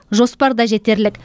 жоспар да жетерлік